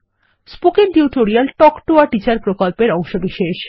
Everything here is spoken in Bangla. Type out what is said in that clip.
spoken tutorial talk to a teacher প্রকল্পের অংশবিশেষ